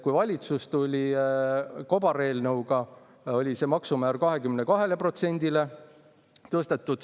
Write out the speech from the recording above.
Kui valitsus tuli kobareelnõuga, oli see maksumäär 22%-le tõstetud.